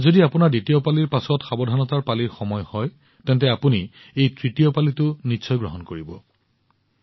যদি আপোনাৰ দ্বিতীয় পালিৰ পিছত সাৱধানতাৰ পালিৰ সময় হয় তেন্তে আপুনি এই তৃতীয় পালিটো গ্ৰহণ কৰিব